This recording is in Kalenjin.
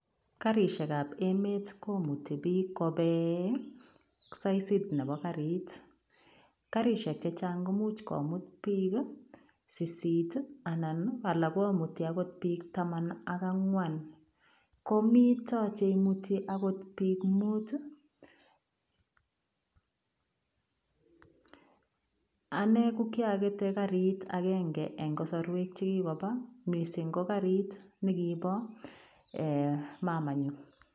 Karisheek ab emeet komutii biik kobeen saisiit nebo kariit , karisheek che chaang komuuch komuut biik saisiit ii anan alaak akoot komutii biik tamaan ak angwaan komitaa cheimutii akoot biik muut ii ,anan ko kyakete kariit agenge en kasarweek chekikobaa missing ko kariit nekiboo eeh mamanyuun.